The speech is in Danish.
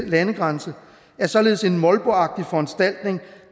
landegrænse er således en molboagtig foranstaltning